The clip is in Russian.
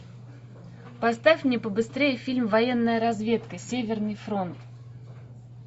поставь мне побыстрее фильм военная разведка северный фронт